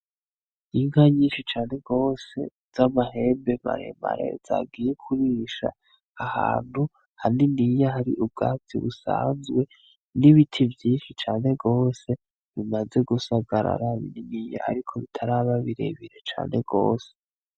Inka nyinshi cane gose z' amahembe maremare zagiye kurisha ahantu haniniya hari ubwatsi busanzwe n' ibiti vyinshi cane gose bimaze gusagarara bininiya ariko bitaraba birebire cane gose.